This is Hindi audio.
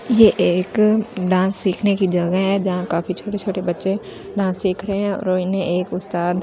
ये एक डांस सीखने की जगह है जहां काफी छोटे-छोटे बच्‍चें डांस सीख रहे हैं और इन्‍हें एक उस्‍ताद डांस --